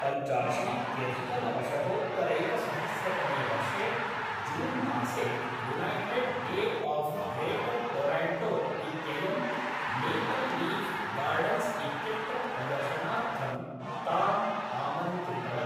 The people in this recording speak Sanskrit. पञ्चाशीत्यधिकनवशतोत्तरैकसहस्रतमे वर्षे जून्मासे United Way of Greater Toronto इत्ययं मेपल् लीफ् गार्डन्स् इत्यत्र प्रदर्शनार्थं ताम् आमन्त्रितवत्।